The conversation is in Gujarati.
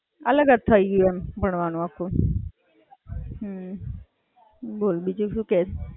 બોલ બીજું શું કે?